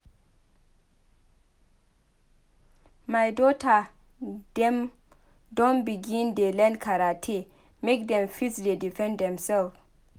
My dota dem don begin dey learn karate make dem fit dey defend demsef.